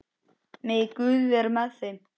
Megi Guð vera með þeim.